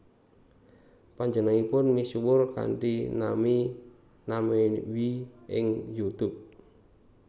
Panjenenganipun misuwur kanthi nami Namewee ing YouTube